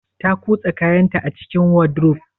Ta cusa kayanta a cikin wardrobe?